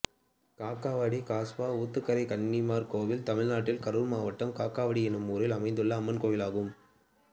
காக்காவாடி கஸ்பா ஊத்துக்கரை கன்னிமார் கோயில் தமிழ்நாட்டில் கரூர் மாவட்டம் காக்காவாடி என்னும் ஊரில் அமைந்துள்ள அம்மன் கோயிலாகும்